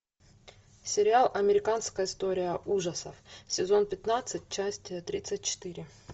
сериал американская история ужасов сезон пятнадцать часть тридцать четыре